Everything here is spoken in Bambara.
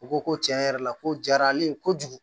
U ko ko tiɲɛ yɛrɛ la ko jara ale ye kojugu